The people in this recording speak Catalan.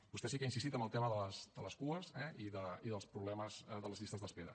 vostè sí que ha insistit en el tema de les cues eh i dels problemes de les llistes d’espera